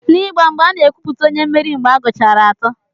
N'ịgba mgba, a na-ekwupụta onye mmeri mgbe a gụchara atọ.